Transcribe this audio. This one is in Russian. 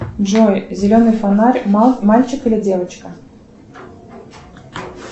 джой зеленый фонарь мальчик или девочка